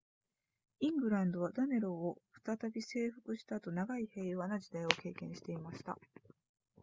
イングランドはダネローを再び征服した後長い平和な時代を経験していました